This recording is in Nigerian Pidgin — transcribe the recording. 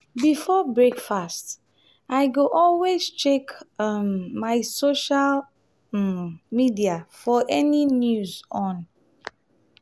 before breakfast i go always check um my social um media for any news on